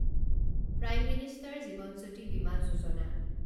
prime minister Jeevan Jyoti Bima Yojana